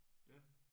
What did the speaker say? Ja